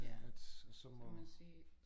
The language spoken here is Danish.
Ja at og så må